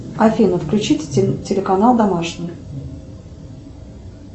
афина включите телеканал домашний